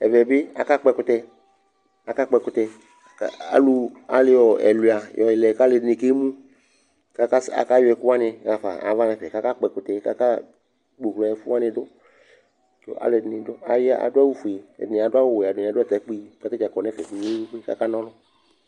Ɛvɛ bɩ akakpɔ ɛkʋtɛ Akakpɔ ɛkʋtɛ kʋ alʋ ayɔ ɛlʋɩa yɔlɛ la kʋ alʋɛdɩnɩ kemu kʋ akas akayɔ ɛkʋ wanɩ ɣa fa nʋ ava nʋ ɛfɛ Akakpɔ ɛkʋtɛ kʋ akpoɣlo ɛfʋ wanɩ dʋ kʋ alʋɛdɩnɩ dʋ aya adʋ awʋfue, ɛdɩnɩ adʋ awʋ ɔwɛ Ɛdɩnɩ adʋ atakpue kʋ ata dza kɔ nʋ ɛfɛ kpe-kpe-kpe kʋ akana ɔlʋ